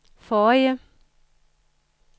forrige